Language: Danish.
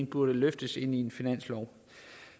burde løftes i en finanslov